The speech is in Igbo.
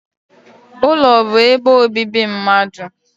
Ulo bu ebe obibi mmadu.